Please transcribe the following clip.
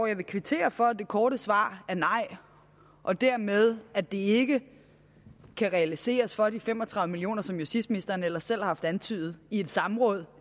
jeg vil kvittere for at det korte svar er nej og dermed at det ikke kan realiseres for de fem og tredive million kr som justitsministeren ellers selv har antydet i et samråd